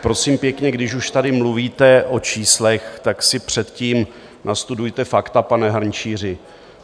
Prosím pěkně, když už tady mluvíte o číslech, tak si předtím nastudujte fakta, pane Hrnčíři.